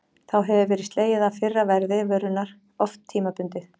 Þá hefur verið slegið af fyrra verði vörunnar, oft tímabundið.